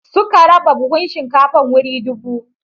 Suka raba buhun shinkafar wuri dubu.